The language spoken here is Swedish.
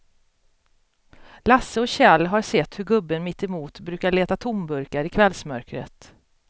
Lasse och Kjell har sett hur gubben mittemot brukar leta tomburkar i kvällsmörkret.